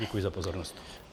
Děkuji za pozornost.